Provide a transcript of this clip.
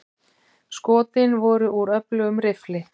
Skotin voru úr öflugum riffli.